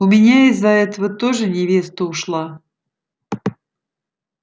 у меня из-за этого тоже невеста ушла